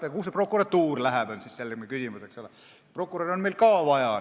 Aga kuhu see prokuratuur läheb, tekib küsimus, sest prokuröre on meil ka vaja.